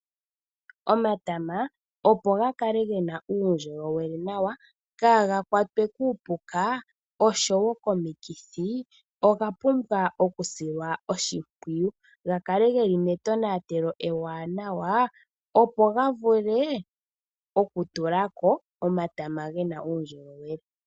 Omatama opo ga kale ge na uundjolowele nawa, kaa ga kwatwe kuupuka osho wo komikithi, oga pumbwa okusilwa oshimpwiyu, ga kale ge li metonatelo ewanawa, opo ga vule okutula ko omatama ge na uundjolowele